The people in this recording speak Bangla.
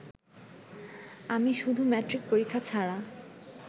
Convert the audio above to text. আমি শুধু মেট্রিক পরীক্ষা ছাড়া